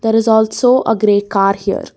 there is also a grey car here.